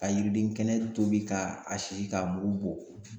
Ka yiriden kɛnɛ tobi ka a sisi k'a mugu bɔ